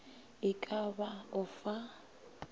e ka ba o fa